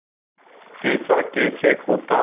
ऐसा कैसे होता